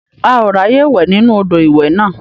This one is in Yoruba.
A ò ráàyè wẹ̀ nínú odò ìwẹ̀ náà.